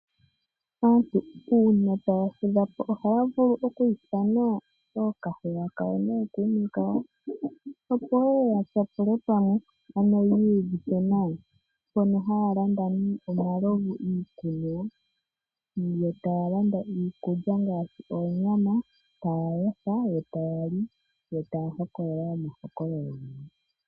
Aantu una taya fudha po ohaya vulu oku ithana okahewa kayo nookume kayo. Opo yeye ya tyapule pamwe ano yi iyuvithe nawa. Mpono haya landa omalovu iikunwa. Yo taya landa iikulya ngaashi oonyama taya yotha taya li. Yo taya hokolola omahokololo.